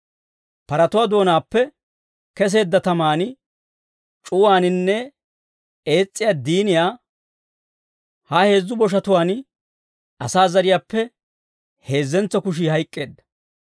Paratuwaa doonaappe keseedda taman, c'uwaaninne ees's'iyaa diiniyan ha heezzu boshatuwaan asaa zariyaappe heezzentso kushii hayk'k'eedda.